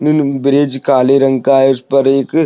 bridge काले रंग का है उस पर एक--